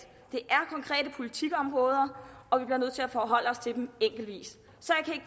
politikområder og vi bliver nødt til at forholde os til dem enkeltvis så